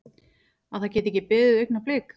Að það geti ekki beðið augnablik.